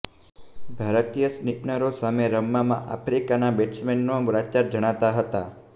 ભારતીય સ્પીનરો સામે રમવામાં આફ્રિકાના બેટ્સમેનો લાચાર જણાતા હતા